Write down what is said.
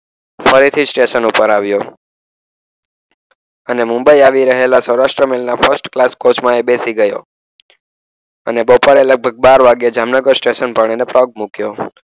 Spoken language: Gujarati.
ફરીથી સ્ટેશન ઉપર આવ્યો. અને મુંબઈ આવી રહેલા સૌરાષ્ટ્રના ફર્સ્ટ ક્લાસ કોચમાં એ બેસી ગયો. અને બપોરે લગભગ બાર વાગે જામનગર સ્ટેશન પર એને પગ મુક્યો.